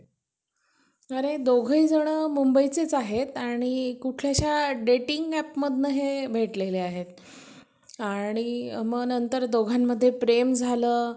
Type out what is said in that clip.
अरे दोघेही जण मुंबईचेच आहेत आणि कुठल्याशा dating app मधनं हे भेटलेले आहेत आणि मग नंतर दोघांमध्ये प्रेम झालं